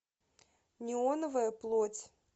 неоновая плоть